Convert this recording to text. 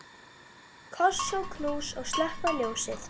Koss og knús og slökkva ljósið.